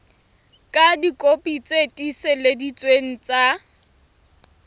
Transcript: ka dikopi tse tiiseleditsweng tsa